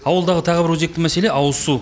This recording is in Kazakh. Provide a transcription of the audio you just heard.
ауылдағы тағы бір өзекті мәселе ауызсу